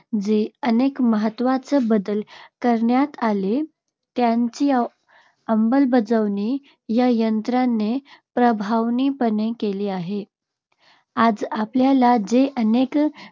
जे अनेक महत्वाचे बदल करण्यात आले, त्यांची अंमलबजावणी या यंत्रणेने प्रभावीपणे केली आहे. आज आपल्याला जे अनेक